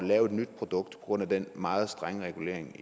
lave et nyt produkt på grund af den meget strenge regulering